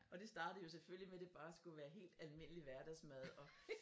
Og det startede jo selvfølgelig med det bare skulle være helt almindelig hverdagsmad og